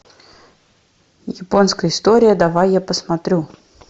японская история давай я посмотрю